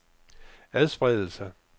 adspredelse